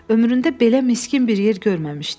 Ömründə belə miskin bir yer görməmişdi.